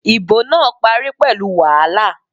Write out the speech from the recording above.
Ìbò náà parí pẹ̀lú wàhálà